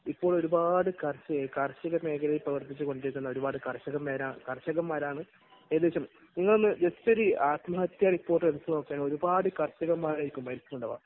ഇപ്പോൾ ഒരുപാട് കർഷക, കാർഷിക മേഖലയിൽ പ്രവർത്തിച്ചുകൊണ്ടിരിക്കുന്ന ഒരുപാട് കർഷകർ, കർഷകന്മാരാണ് ഏകദേശം നിങ്ങൾ ഒരു ജസ്റ്റ് ഒന്ന് ആത്മഹത്യ റിപ്പോർട്ട് എടുത്തുനോക്കുകയാണെങ്കിൽ ഒരുപാട് കർഷകന്മാർ ആയിരിക്കും മരിച്ചിട്ടുണ്ടാകുക.